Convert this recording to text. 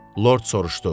Lord soruşdu: